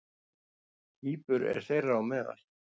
Kýpur er þeirra á meðal.